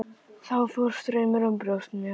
Þá fór straumur um brjóst mér.